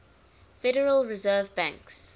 federal reserve banks